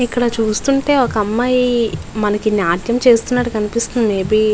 ఇక్కడ చూస్తుంటే ఒక అమ్మాయి మనకి నాట్యం చేస్తునట్టు కనిపిస్తుంది మేబి .